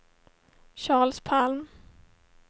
Charles Palm